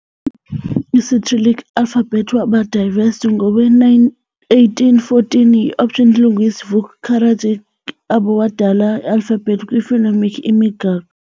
Isicyrillic alphabet waba devised ngowe-1814 yi-opt. linguist Vuk Karadžić, abo wadala alphabet kwi phonemic imigaqo.